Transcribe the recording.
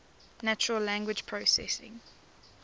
natural language processing